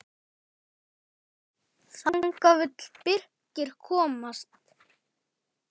Þangað vill Birkir komast.